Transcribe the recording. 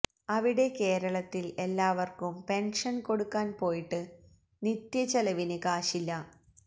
അവിടെ കേരളത്തിൽ എല്ലാവർക്കും പെൻഷൻ കൊടുക്കാൻ പോയിട്ട് നിത്യ ചെലവിന് കാശില്ല